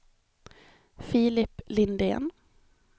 Filip Lindén